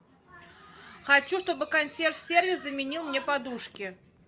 хочу чтобы консьерж сервис заменил мне подушки